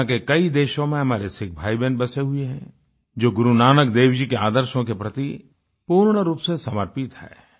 दुनिया के कई देशों में हमारे सिख भाईबहन बसे हुए हैं जो गुरुनानकदेव जी के आदर्शों के प्रति पूर्ण रूप से समर्पित हैं